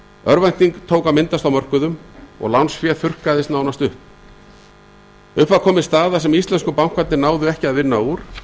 örvænting tók að myndast á mörkuðum og lánsfé þurrkaðist nánast upp upp var komin staða sem íslensku bankarnir náðu ekki að vinna úr